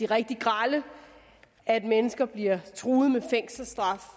rigtig grelle at mennesker bliver truet med fængselsstraf